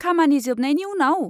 खामानि जोबनायनि उनाव?